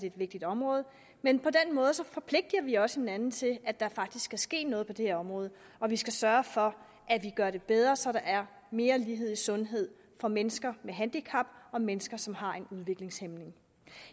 et vigtigt område men på den måde forpligtiger vi også hinanden til at der faktisk skal ske noget på det her område og vi skal sørge for at vi gør det bedre så der er mere lighed i sundhed for mennesker med handicap og mennesker som har en udviklingshæmning